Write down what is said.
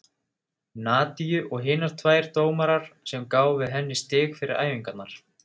Nadiu og hinar tvær dómarar sem gáfu henni stig fyrir æfingarnar.